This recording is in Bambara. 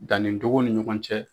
Danni cogo ni ɲɔgɔn cɛ.